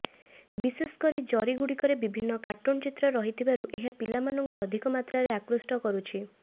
ବିଶେଷକରି ଜରିଗୁଡିରେ ବିଭିନ୍ନ କାର୍ଟୁନ ଚିତ୍ର ରହିଥିବାରୁ ଏହା ପିଲାମାନଙ୍କୁ ଅଧିକମାତ୍ରାରେ ଆକୃଷ୍ଟ କରୁଛି